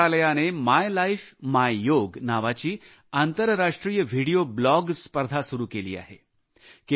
आयुष मंत्रालयाने my life my Yoga नावाची आंतरराष्ट्रीय व्हिडिओ ब्लॉग स्पर्धा सुरू केली आहे